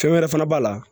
Fɛn wɛrɛ fana b'a la